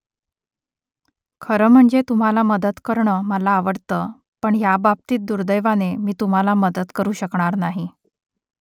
खरं म्हणजे तुम्हाला मदत करणं मला आवडतं पण ह्याबाबतीत दुर्दैवाने मी तुम्हाला मदत करू शकणार नाही